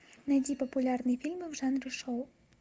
найди популярные фильмы в жанре шоу